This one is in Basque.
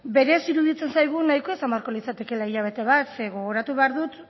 berez iruditzen zaigu nahikoa izan beharko litzatekeela hilabete bat zeren gogoratu behar dut